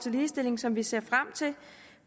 ligestilling som vi ser frem til